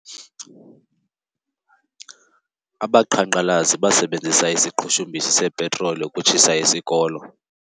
Abaqhankqalazi basebenzise isiqhushumbisi sepetroli ukutshisa isikolo.